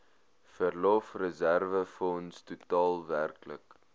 verlofreserwefonds totaal werklik